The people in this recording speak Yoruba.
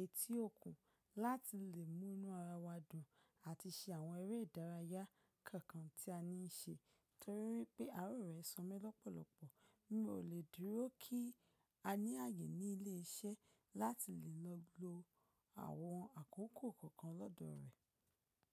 etí òkun láti lè múnú ara wa dùn àti ṣe àwọn eré ìdárayá kankan tí a ní í se torí pé àárò rè somí lọ́pọ̀lọpọ̀. Mi ò lè dúró kí a ní àyè ní ilé iṣẹ́ láti lè lọ lo àwọn àkókò kọ̀ọ̀kan lọ́dọ̀ rẹ̀.